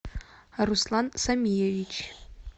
руслан самиевич